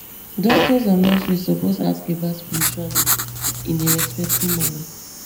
doctors and nurses suppose ask about spiritual needs in a respectful manner